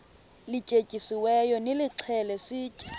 lityetyisiweyo nilixhele sitye